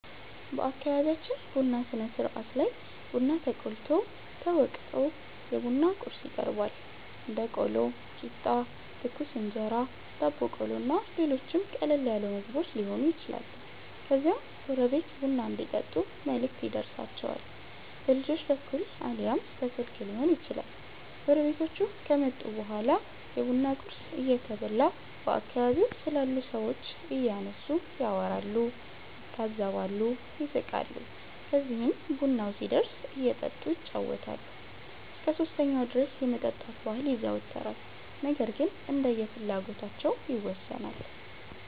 በአከቢቢያችን ቡና ስነስርአት ላይ ቡና ተቆልቶ፣ ተወቅቶ፣ የቡና ቁርስ ይቀርባል(ቆሎ፣ ቂጣ፣ ትኩስ እንጀራ፣ ዳቦ ቆሎ እና ሌሎችም ቀለል ያሉ ምግቦች የሆኑ ይችላሉ) ከዚያም ጎረቤት ቡና እንዲጠጡ መልእክት ይደርሣቸዋል። በልጆች በኩል አልያም በስልክ ሊሆን ይችላል። ጎረቤቶቹ ከመጡ በኋላ የቡና ቁርስ እየተበላ በአከባቢው ስላሉ ሠዎች እያነሱ ያወራሉ፣ ይታዘባሉ፣ ይስቃሉ። ከዚህም ቡናው ሲደርስ እየጠጡ ይጫወታሉ። እስከ 3ኛው ድረስ የመጠጣት ባህል ይዘወተራል ነገር ግን እንደየፍላጎታቸው ይወሠናል።